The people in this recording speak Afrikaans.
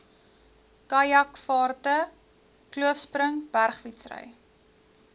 kajakvaarte kloofspring bergfietsry